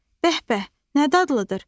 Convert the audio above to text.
Bəh-bəh, nə dadlıdır!